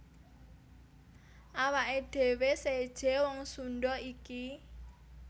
Awaké dhéwé séjé wong Sundha iki